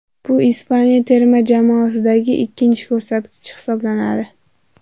Bu Ispaniya terma jamoasidagi ikkinchi ko‘rsatkich hisoblanadi.